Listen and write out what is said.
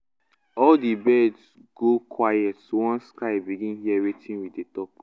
all the birds go quiet once sky begin hear wetin we dey talk.